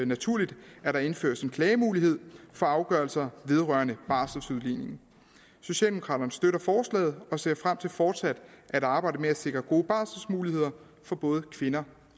naturligt at der indføres en klagemulighed for afgørelser vedrørende barseludligning socialdemokraterne støtter forslaget og ser frem til fortsat at arbejde med at sikre gode barselmuligheder for både kvinder